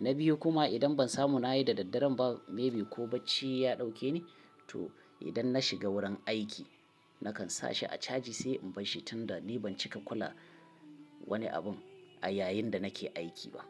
Na biyu kuma idan ban samu na yi da daddare ba maybe ko bacci ya dauke ni. To idan na shiga wurin aiki nakan sa shi a caji sai in bar shi tun da ni ban cika kula wani abin a yayin da nake aiki ba.